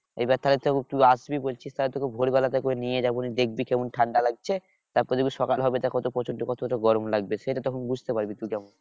এবার তাহলে তুই আসবি বলছিস, তাহলে তোকে ভোরবেলা থেকে ওই নিয়ে যাবো তুই দেখবি কেমন ঠান্ডা লাগছে? তারপরে দেখবি সকাল হবে গরম লাগবে সেটা তখন বুঝতে পারবি তুই তখন।